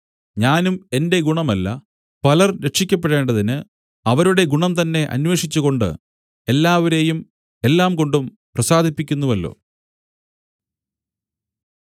ഞാനും എന്റെ ഗുണമല്ല പലർ രക്ഷിയ്ക്കപ്പെടേണ്ടതിന് അവരുടെ ഗുണംതന്നെ അന്വേഷിച്ചുകൊണ്ട് എല്ലാവരെയും എല്ലാംകൊണ്ടും പ്രസാദിപ്പിക്കുന്നുവല്ലോ